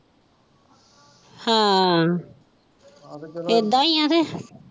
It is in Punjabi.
ਹਾਂ ਇੱਦਾਂ ਹੀ ਹੈ ਕ।